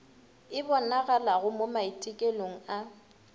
e bonagalogo mo maitekelong a